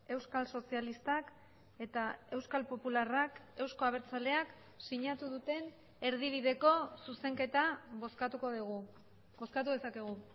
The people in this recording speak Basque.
euskal sozialistak eta euskal popularrak euzko abertzaleak sinatu duten erdibideko zuzenketa bozkatuko dugu bozkatu dezakegu